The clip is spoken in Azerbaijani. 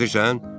eşidirsən?